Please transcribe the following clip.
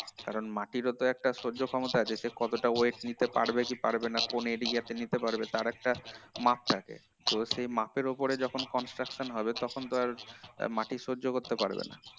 কারণ মাটিরও তো একটা সহ্য ক্ষমতা আছে কতটা weight নিতে পারবে কি পারবে না কোন area তে নিতে পারবে তার একটা মাপ থাকে তো সেটা মাপের উপরে যখন construction হয় তখন তো আর মাটি সহ্য করতে পারবে না